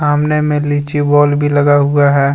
सामने में लीची वाल भी लगा हुआ है।